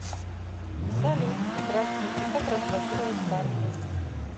салют здравствуйте как разблокировать карту